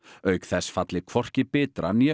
auk þess falli hvorki Bitra né